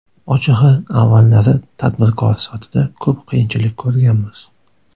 Ochig‘i, avvallari tadbirkor sifatida ko‘p qiyinchilik ko‘rganmiz.